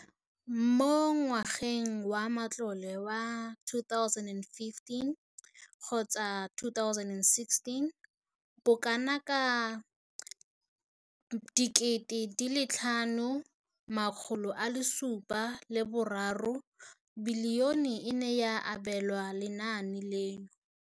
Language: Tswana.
Mo ngwageng wa matlole wa 2015,16, bokanaka R5 703 bilione e ne ya abelwa lenaane leno.